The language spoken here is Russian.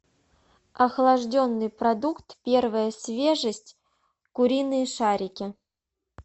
охлажденный продукт первая свежесть куриные шарики